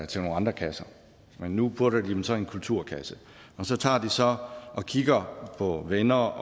til nogle andre kasser men nu putter de dem så i en kulturkasse og så tager de så og kigger på venner